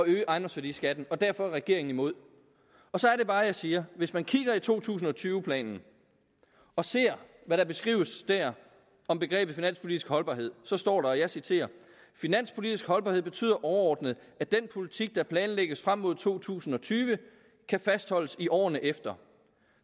øge ejendomsværdiskatten og derfor er regeringen imod så er det bare jeg siger hvis man kigger i to tusind og tyve planen og ser hvad der beskrives der om begrebet finanspolitisk holdbarhed står der og jeg citerer finanspolitisk holdbarhed betyder overordnet at den politik der planlægges frem mod to tusind og tyve kan fastholdes i årene efter